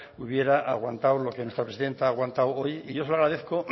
hubiera aguantado lo que nuestra presidenta ha aguantado hoy y yo se lo agradezco